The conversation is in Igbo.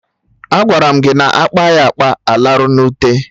Agwara m gị na akpa ya akpa, alarụ na ute